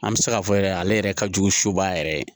An bɛ se k'a fɔ yɛrɛ ale yɛrɛ ka jugu suba yɛrɛ ye